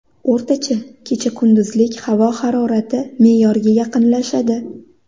O‘rtacha kecha-kunduzlik havo harorati me’yorga yaqinlashadi.